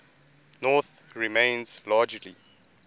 north remains largely